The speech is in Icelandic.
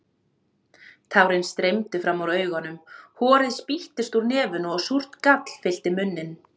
Tárin streymdu fram úr augunum, horið spýttist úr nefinu og súrt gall fyllti munninn.